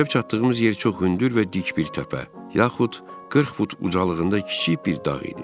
Gəlib çatdığımız yer çox hündür və dik bir təpə, yaxud 40 fut ucalığında kiçik bir dağ idi.